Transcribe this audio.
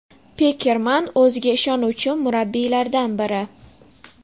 Pekerman – o‘ziga ishonuvchi murabbiylardan biri.